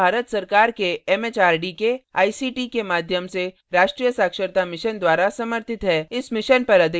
यह भारत सरकार के एमएचआरडी के आईसीटी के माध्यम से राष्ट्रीय साक्षरता mission द्वारा समर्थित है